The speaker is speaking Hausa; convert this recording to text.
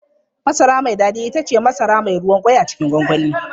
Masara mai daɗi ita ce masara mai ruwan ƙwai a cikin gwangwani.